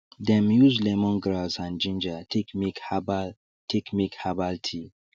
dem use lemongrass and ginger take make herbal take make herbal tea